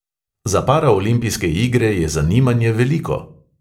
Za paraolimpijske igre je zanimanje veliko.